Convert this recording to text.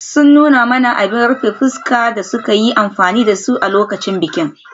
Sun nuna mana abin rufe fuska da suka yi amfani da su a lokacin bikin.